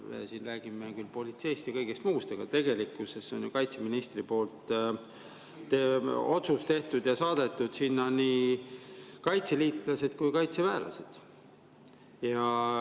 Siin me räägime küll politseist ja kõigest muust, aga tegelikkuses on kaitseminister otsuse teinud ja saatnud sinna nii kaitseliitlased kui kaitseväelased.